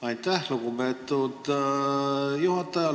Aitäh, lugupeetud juhataja!